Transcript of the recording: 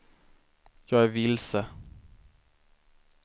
jag är vilse